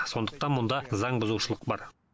сондықтан мұнда заң бұзушылық бар